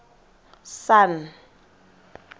sun